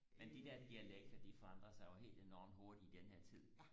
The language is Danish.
men de der dialekter de forandrer sig jo helt enormt hurtigt i den her tid